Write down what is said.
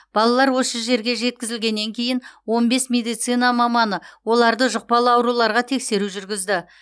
балалар осы жерге жеткізілгеннен кейін он бес медицина маманы оларды жұқпалы ауруларға тексеру жүргізді